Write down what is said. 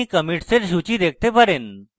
আপনি commits এর সূচী দেখতে পারেন